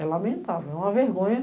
É lamentável, é uma vergonha.